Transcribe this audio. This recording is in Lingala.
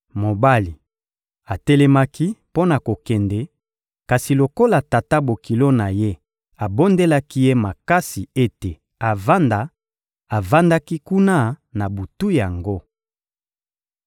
Mobali atelemaki mpo na kokende; kasi lokola tata-bokilo na ye abondelaki ye makasi ete avanda, avandaki kuna na butu yango.